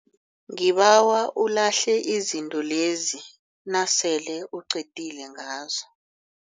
Ngibawa ulahle izinto lezi nasele uqedile ngazo.